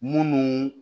Munnu